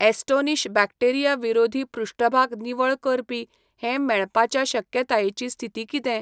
Astonish bacteria विरोधी पृष्ठभाग निवळ करपी हें मेळपाच्या शक्यतायेची स्थिती कितें ?